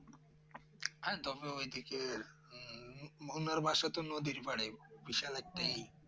হ্যাঁ তবে ওই দিকে হুম ভুনোর বাশ তো নদীর পাড়ে বিশাল একটিই